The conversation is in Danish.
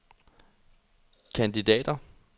kandidater